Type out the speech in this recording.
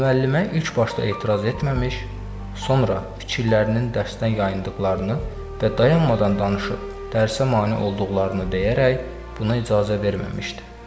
Müəllimə ilk başda etiraz etməmiş, sonra fikirlərinin dərsdən yayındıqlarını və dayanmadan danışıb dərsə mane olduqlarını deyərək buna icazə verməmişdi.